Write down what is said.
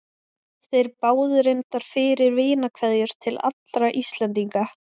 Þeir báðu reyndar fyrir vinarkveðjur til allra Íslendinga.